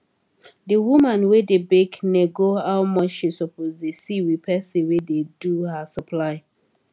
d woman wey da bake nego how much she suppose da see with person wey da do her supply